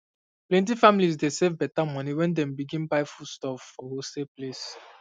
plenty families dey save better money when dem begin buy foodstuff for wholesale places